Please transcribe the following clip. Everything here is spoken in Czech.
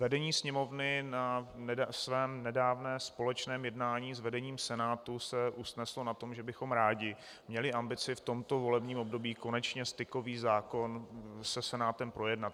Vedení Sněmovny na svém nedávném společném jednání s vedením Senátu se usneslo na tom, že bychom rádi měli ambici v tomto volebním období konečně stykový zákon se Senátem projednat.